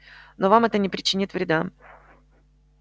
но вам это не причинит вреда